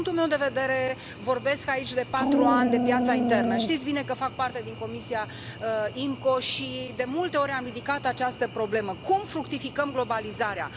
Din punctul meu de vedere vorbesc aici de patru ani de piața internă, știți bine că fac parte din Comisia IMCO și de multe ori am ridicat această problemă cum fructificăm globalizarea?